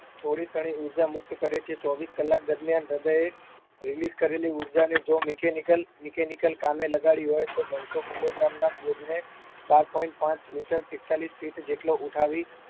થોડી ક્ષણે ઉર્જા મુક્ત કરે છે ચોવીસ કલાક દરમિયાન હૃદયે release કરેલી ઉર્જાને જો mechanical mechanical કામે લગાડી હોય તો નવસો kilogram ના બોજને બાર point પાંચ meter એકતાલીસ feet જેટલો ઉઠાવી